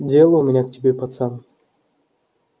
дело у меня к тебе пацан